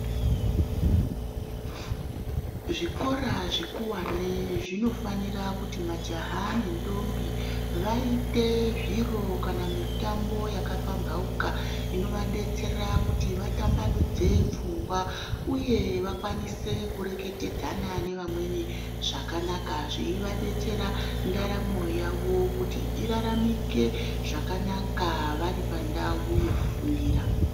Zvikora zvikuwane zvinofanira kuti majaha nendombi vaite zviro kana mitambo yakapamhauka inovadetsera kuti vatambanudze pfungwa. Uye vakwanise kureketadzana nevamweni zvakanaka zveivadetsera ndaramo yavo kuti iraramike zvakanaka vari pandau yekufundira.